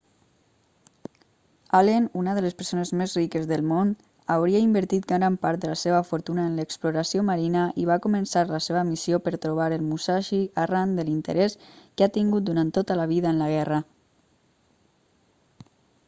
allen una de les persones més riques del món hauria invertit gran part de la seva fortuna en l'exploració marina i va començar la seva missió per trobar el musashi arran de l'interès que ha tingut durant tota la vida en la guerra